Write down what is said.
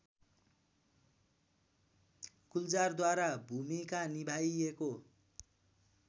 गुलजारद्वारा भूमिका निभाइएको